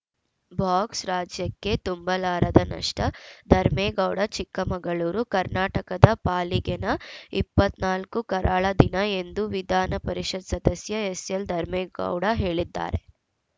box ರಾಜ್ಯಕ್ಕೆ ತುಂಬಲಾರದ ನಷ್ಟ ಧರ್ಮೇಗೌಡ ಚಿಕ್ಕಮಗಳೂರು ಕರ್ನಾಟಕದ ಪಾಲಿಗೆ ನ ಇಪ್ಪತ್ತ್ ನಾಲ್ಕು ಕರಾಳ ದಿನ ಎಂದು ವಿಧಾನಪರಿಷತ್‌ ಸದಸ್ಯ ಎಸ್‌ಎಲ್‌ ಧರ್ಮೇಗೌಡ ಹೇಳಿದ್ದಾರೆ